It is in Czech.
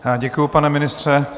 Děkuji, pane ministře.